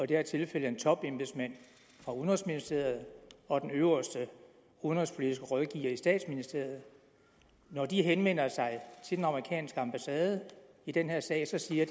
det her tilfælde en topembedsmand fra udenrigsministeriet og den øverste udenrigspolitiske rådgiver i statsministeriet når de henvender sig til den amerikanske ambassade i den her sag siger